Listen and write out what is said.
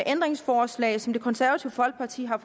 ændringsforslag som det konservative folkeparti har